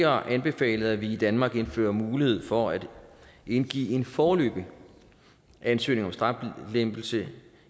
har anbefalet at vi i danmark indfører mulighed for at indgive en foreløbig ansøgning om straflempelse